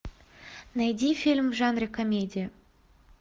найди фильм в жанре комедия